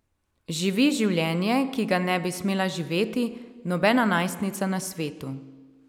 Živi življenje, ki ga ne bi smela živeti nobena najstnica na svetu.